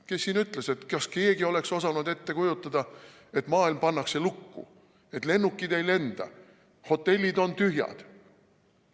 Kes siin ütles, et kas keegi oleks osanud ette kujutada, et maailm pannakse lukku, et lennukid ei lenda, hotellid on tühjad?